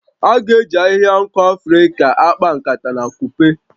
A ga-eji ahihia nku Afrịka a akpa nkata na akupe